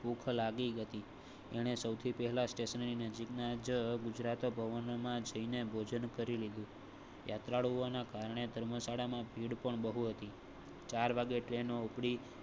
ભૂખ લાગી હતી ને સૌથી પહેલા સ્ટેશનની નજીક ના ગુજરાત ભવનમાં જઈ ને ભોજન કરી લીધું યાત્રાળુઓ ના કારણે ધર્મશાળા માં ભીડ પણ બહુ ચાર વાગે ટ્રેનો ઉપડી